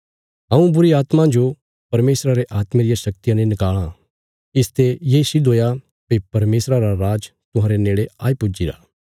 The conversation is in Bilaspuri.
हऊँ बुरीआत्मां जो परमेशरा रे आत्मे रिया शक्तिया ने नकाल़ां इसते ये सिद्ध हुया भई परमेशरा रा राज तुहांरे नेड़े आई पुज्जीरा